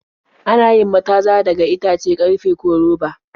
Ana yin mataza daga itace, karfe, ko roba.